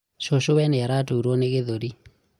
cũcũwe nĩ araturũo nĩ gĩthũri